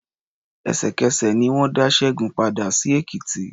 Ẹ̀sẹ̀kẹsẹ̀ ni wọ́n dá Ṣẹ́gun padà sí Èkìtì.